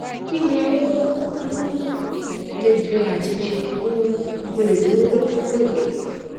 kí ni ó um lè jẹ ati ṣé um mo le duro duro de